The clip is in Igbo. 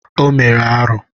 O mere arụ.